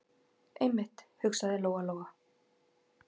Einmitt, hugsaði Lóa- Lóa.